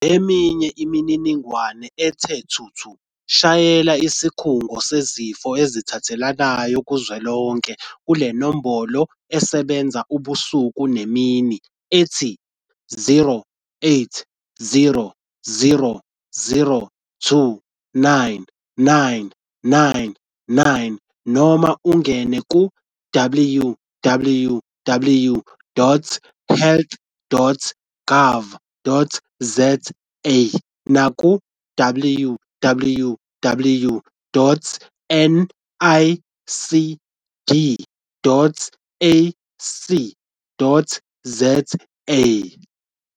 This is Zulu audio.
Ngeminye imininingwane ethe thuthu shayela Isikhungo Sezifo Ezithelelanayo Kuzwelonke kule nombolo esebenza ubusuku nemini ethi- 0800 029 999 noma ungene ku- www.health.gov.za naku- www.nicd.ac.za